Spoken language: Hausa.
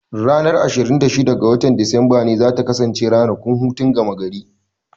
Ranar ashirin da shida ga watan Disamba ce za ta kasance ranakun hutun gama gari.